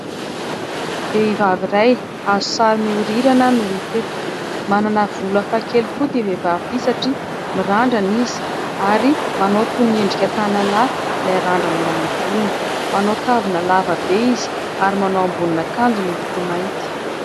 Vehivavy iray azo sary miorirana no hita eto. Manana volo hafa kely koa ity vehivavy ity satria mirandrana izy ary manao toy ny endrika tanalahy ilay randrana eo amin'ny volony ; manao kavina lava be izy ary manao ambonin'akanjo miloko mainty.